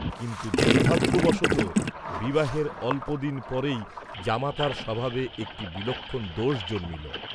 কিন্তু দুর্ভাগ্য বশতঃ বিবাহের অল্প দিন পরেই জামাতার স্বভাবে একটি বিলক্ষণ দোষ জন্মিল।